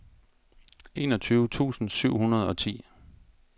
enogtyve tusind syv hundrede og ti